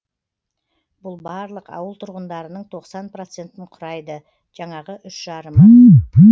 бұл барлық ауыл тұрғындарының тоқсан процентін құрайды жаңағы үш жарымы